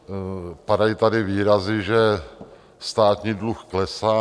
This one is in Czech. Padají tady výrazy, že státní dluh klesá.